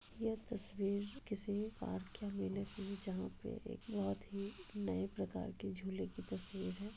यह तस्वीर किसी पार्क के मेले की है जहां पे एक बोहत ही नए प्रकार के झूले की तस्वीर है।